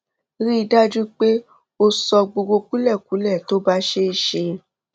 rí i dájú pé o sọ gbogbo kúlẹkúlẹ tó bá ṣeé ṣe